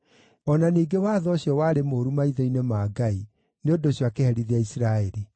O na ningĩ watho ũcio warĩ mũũru maitho-inĩ ma Ngai; nĩ ũndũ ũcio akĩherithia Isiraeli.